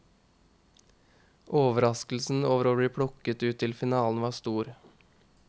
Overraskelsen over å bli plukket ut til finalen var stor.